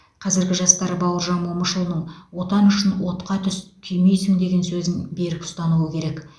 қазіргі жастар бауыржан момышұлының отан үшін отқа түс күймейсің деген сөзін берік ұстануы керек